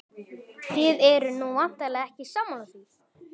Þið eruð nú væntanlega ekki sammála því?